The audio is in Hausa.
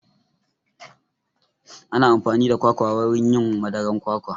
Ana amfani da kwakwa wurin yin madaran kwakwa